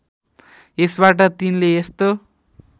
यसबाट तिनले यस्तो